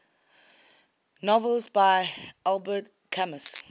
novels by albert camus